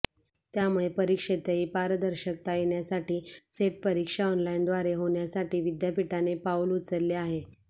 त्यामुळे परीक्षेतही पारदर्शकता येण्यासाठी सेट परीक्षा ऑनलाइनद्वारे होण्यासाठी विद्यापीठाने पाऊल उचलले आहे